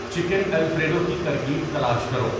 chicken alfredo کی ترکیب تلاش کرو